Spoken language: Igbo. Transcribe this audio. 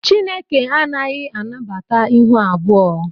Chineke anaghị anabata ịhụ abụọ